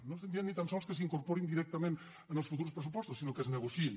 no estem dient ni tan sols que s’incorporin directament en els futurs pressupostos sinó que es negociïn